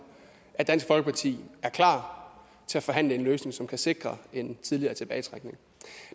at dansk folkeparti er klar til at forhandle en løsning som kan sikre en tidligere tilbagetrækning